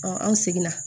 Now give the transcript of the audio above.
an seginna